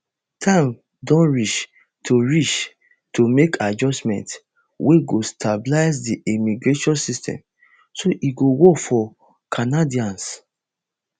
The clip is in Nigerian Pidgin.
time don reach to reach to make adjustments wey go stabilise di immigration system so e go work for canadians